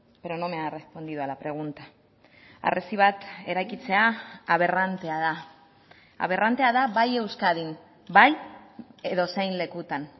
pero no me ha respondido a la pregunta harresi bat eraikitzea aberrantea da aberrantea da bai euskadin bai edozein lekutan